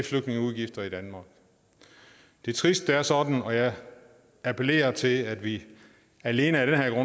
flygtningeudgifter i danmark det er trist at det er sådan og jeg appellerer til at vi alene af den her